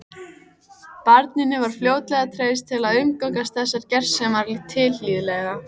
Barninu var fljótlega treyst til að umgangast þessar gersemar tilhlýðilega.